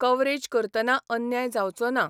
Coverage करतना अन्याय जावचो ना.